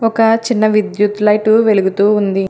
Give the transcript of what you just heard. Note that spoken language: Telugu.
ఒక చిన్న విద్యుత్ లైటు వెలుగుతూ ఉంది.